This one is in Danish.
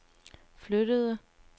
flyttede